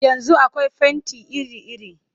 Yanzu akwai fenti iri-iri